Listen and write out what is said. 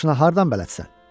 Bu maşına hardan bələdsən?